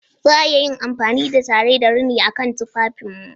Za a iya amfani da taye da rini a kan tufafinmu.